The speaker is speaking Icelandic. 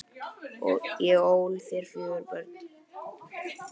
Ég ól þér fjögur börn.